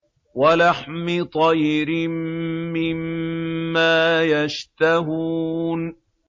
وَلَحْمِ طَيْرٍ مِّمَّا يَشْتَهُونَ